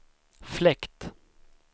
fläkt